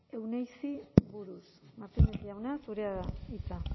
euneizi buruz martínez jauna zurea da hitza